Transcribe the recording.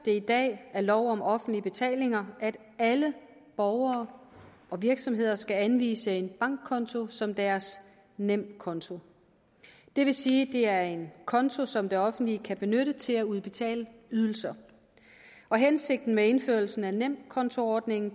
det i dag af lov om offentlige betalinger at alle borgere og virksomheder skal anvise en bankkonto som deres nemkonto det vil sige at det er en konto som det offentlige kan benytte til at udbetale ydelser hensigten med indførelsen af nemkontoordningen